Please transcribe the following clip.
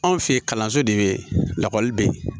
Anw fɛ yen kalanso de bɛ yen lakɔli bɛ yen